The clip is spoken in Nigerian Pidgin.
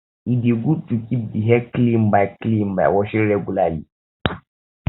e de good to keep di hair clean by clean by washing regularly